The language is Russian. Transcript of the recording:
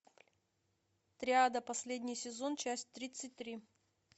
триада последний сезон часть тридцать три